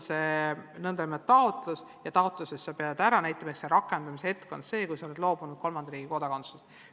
Sa esitad taotluse ja taotluses pead ära näitama, et sa rakendamise hetkel oled loobunud kolmanda riigi kodakondsusest.